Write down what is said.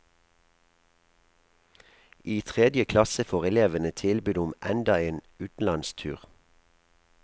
I tredje klasse får elevene tilbud om enda en utenlandstur.